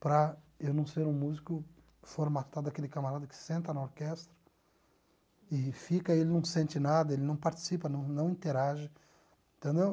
para eu não ser um músico formatado, aquele camarada que senta na orquestra e fica, ele não sente nada, ele não participa, não interage entendeu